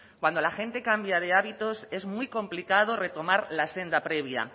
cuando la gente cambia de hábitos es muy complicado retomar la senda previa